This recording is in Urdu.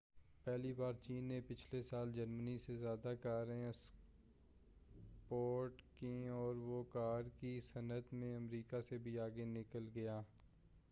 پہلی بار چین نے پچھلے سال جرمنی سے زیادہ کاریں اکسپورٹ کیں اور وہ کار کی صنعت میں امریکا سے بھی آگے نکل گیا